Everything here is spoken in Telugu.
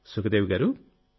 సుఖదేవి గారూ